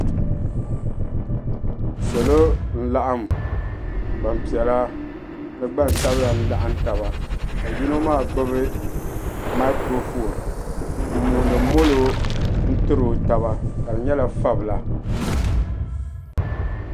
Salo n laɣim gbampiɛla ni gbansabla n laɣim taba ka yino maa gbibi makuro fooni m mooni molo n tiri o taba ka di nyɛla fabila.